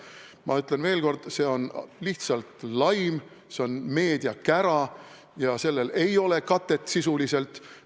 Ma ütlen veel kord: see on lihtsalt laim, see on meediakära ja sellel ei ole sisulist katet.